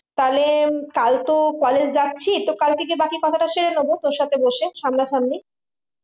তাহলে কাল তো college যাচ্ছি তো কাল থেকে বাকি কথাটা সেরে নেবো তোর সাথে বসে সামনা সামনি